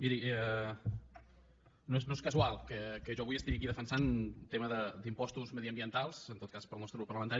miri no és casual que jo avui estigui aquí defensant un tema d’impostos mediambientals en tot cas pel nostre grup parlamentari